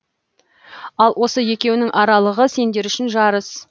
ал осы екеуінің аралығы сендер үшін жарыс